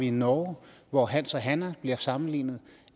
i norge hvor hans og hanna blev sammenlignet